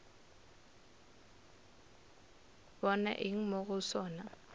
bona eng mo go sona